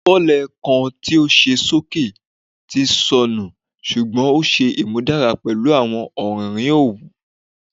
Fọlẹ kan ti o ṣe soke ti nsọnu ṣugbọn o ṣe imudara pẹlu awọn ọririn owu